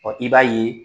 i b'a ye